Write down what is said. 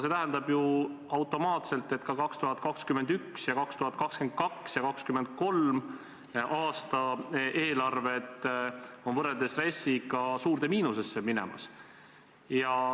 See tähendab automaatselt seda, et 2021., 2022. ja 2023. aasta eelarved on võrreldes RES-iga suurde miinusesse minemas.